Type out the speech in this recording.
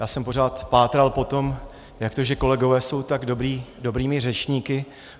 Já jsem pořád pátral po tom, jak to, že kolegové jsou tak dobrými řečníky.